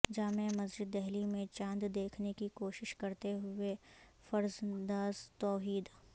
جامع مسجد دہلی میں چاند دیکھنے کی کوشش کرتے ہوئے فرزنداز توحید